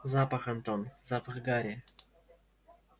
запах антон запах гарри